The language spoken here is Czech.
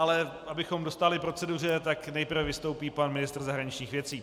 Ale abychom dostáli proceduře, tak nejprve vystoupí pan ministr zahraničních věcí.